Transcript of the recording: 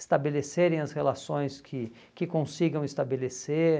estabelecerem as relações que que consigam estabelecer.